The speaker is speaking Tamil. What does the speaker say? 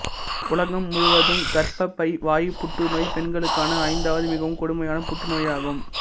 உலகம் முழுவதும் கர்ப்பப்பை வாய்ப் புற்றுநோய் பெண்களுக்கான ஐந்தாவது மிகவும் கொடுமையான புற்றுநோயாகும்